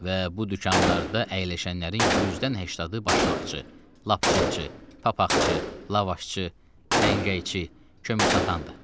Və bu dükanlarda əyləşənlərin 100-dən 80-i başmaqçı, lapçınçı, papaqçı, lavaşçı, səngəyçi, kömür satandı.